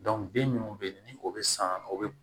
den munnu be yen ni o be san o be